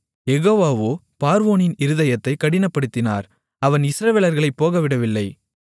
யெகோவாவோ பார்வோனின் இருதயத்தைக் கடினப்படுத்தினார் அவன் இஸ்ரவேலர்களைப் போகவிடவில்லை